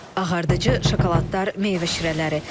Ağardıcı, şokoladlar, meyvə şirələri.